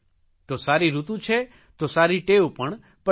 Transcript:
તો સારી ઋતુ છે તો સારી ટેવ પણ પડી જાય